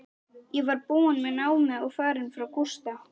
Ég var búin með námið og farin frá Gústa.